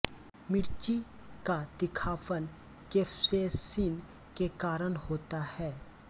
मिर्ची का तीखापन केप्सेसिन के कारण होता है